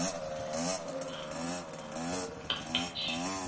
bokuhlela lolu qeqesho